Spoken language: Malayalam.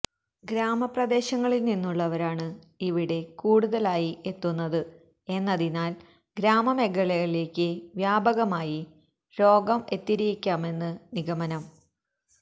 ഗ്രാമ പ്രദേശങ്ങളില് നിന്നുള്ളവരാണ് ഇവിടെ കൂടുതലായി എത്തുന്നത് എന്നതിനാല് ഗ്രാമമേഖലകളിലേക്ക് വ്യാപകമായി രോഗം എത്തിയിരിക്കാമെന്നാണ് നിഗമനം